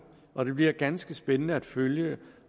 og det bliver ganske spændende at følge